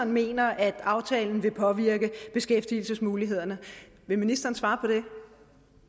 mener at aftalen vil påvirke beskæftigelsesmulighederne vil ministeren svare på det